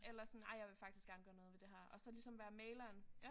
Eller sådan ej jeg vil faktisk gerne gøre noget ved det her og så ligesom være mægleren